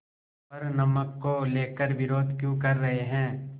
पर नमक को लेकर विरोध क्यों कर रहे हैं